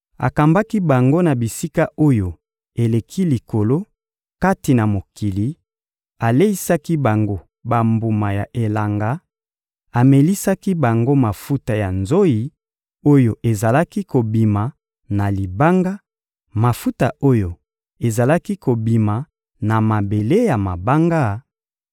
Akambaki bango na bisika oyo eleki likolo kati na mokili, aleisaki bango bambuma ya elanga, amelisaki bango mafuta ya nzoyi oyo ezalaki kobima na libanga, mafuta oyo ezalaki kobima na mabele ya mabanga,